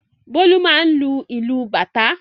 Bólú máà ń lu ìlù bàtá.